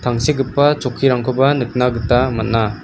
tangsekgipa chokkirangkoba nikna gita man·a.